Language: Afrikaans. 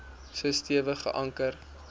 so stewig geanker